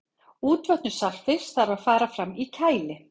útvötnun saltfisks þarf að fara fram í kæli